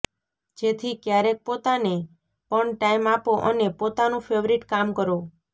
જેથી ક્યારેક પોતાને પણ ટાઇમ આપો અને પોતાનું ફેવરિટ કામ કરો